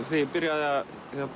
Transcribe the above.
þegar ég byrjaði að